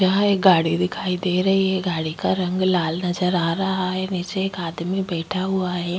यहाँ एक गाड़ी दिखाई दे रही है। गाड़ी का रंग लाल नजर आ रहा है। नीचे एक आदमी बैठा हुआ है।